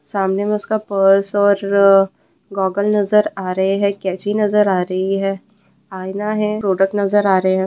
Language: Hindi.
सामने में उसका पर्स और अ गॉगल नजर आ रहे हैं कैंची नज़र आ रही है आईना है प्रोडक्ट नजर आ रहे है।